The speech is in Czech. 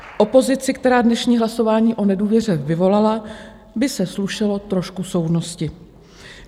Opozici, která dnešní hlasování o nedůvěře vyvolala, by se slušelo trošku soudnosti.